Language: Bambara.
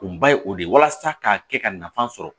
Kunba ye o de ye walasa k'a kɛ ka nafa sɔrɔ